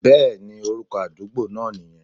Bẹ́ẹ̀ni, orúkọ àdúgbo náà nìyẹn